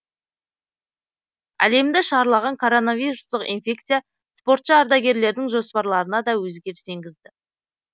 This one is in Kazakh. әлемді шарлаған коронавирустық инфекция спортшы ардагерлердің жоспарларына да өзгеріс енгізді